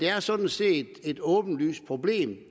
er sådan set et åbenlyst problem